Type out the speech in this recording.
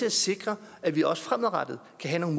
at sikre at vi også fremadrettet kan have